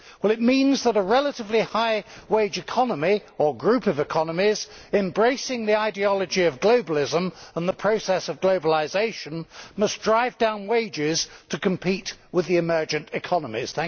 It means that a relatively high wage economy, or group of economies, embracing the ideology of globalism and the process of globalisation, must drive down wages to compete with the emergent economies.